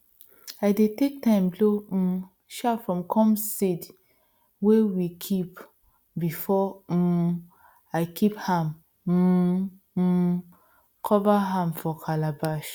i dey take time blow um chaff from corn seed wey we kip before um i kip am um um cover am for calabash